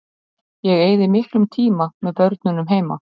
Ég eyði miklum tíma með börnunum heima.